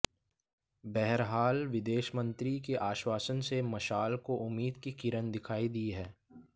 बहरहाल विदेश मंत्री के आश्वासन से मशाल को उम्मीद की किरण दिखाई दी है